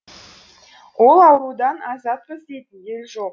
ол аурудан азатпыз дейтін ел жоқ